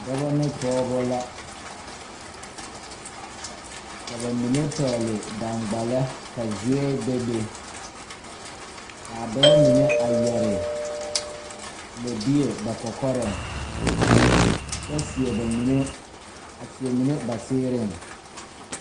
Dɔbɔ ne pɔɔbɔ la ka ba mine pɛgle daŋgbala ka zuɛɛ bebe kaa dɔbɔ mine a yɛre lɛbie ba kɔkɔrɛŋ kyɛ seɛ ba mine a seɛ mine ba seeriŋ.